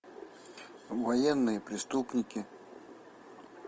военные преступники